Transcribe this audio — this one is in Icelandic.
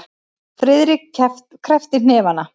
Friðrik kreppti hnefana.